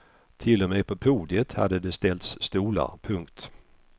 Till och med på podiet hade det ställts stolar. punkt